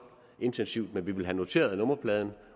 intensivt men vi vil have noteret nummerpladen